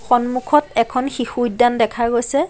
সন্মুখত এখন শিশু উদ্যান দেখা গৈছে।